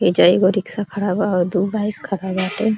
एइजा एगो रिक्शा खड़ा बा और दु बाइक खड़ा बाटे।